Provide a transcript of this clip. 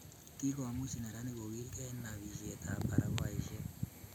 Kikomuch neranik kogilkei eng nobisietab barakoaisiek